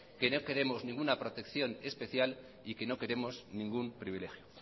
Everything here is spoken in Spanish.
que no queremos ninguna protección especial y que no queremos ningún privilegio